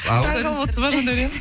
ал таңғалып отырсыз ба жандаурен